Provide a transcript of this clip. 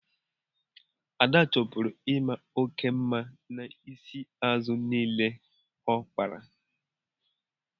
Ada chọburu ị maa oke mma n'isi azụ niile ya ọ kpara.